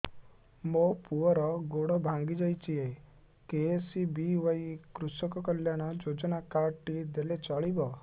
ମୋ ପୁଅର ଗୋଡ଼ ଭାଙ୍ଗି ଯାଇଛି ଏ କେ.ଏସ୍.ବି.ୱାଇ କୃଷକ କଲ୍ୟାଣ ଯୋଜନା କାର୍ଡ ଟି ଦେଲେ ଚଳିବ